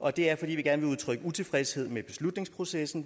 og det er fordi vi gerne vil udtrykke utilfredshed med beslutningsprocessen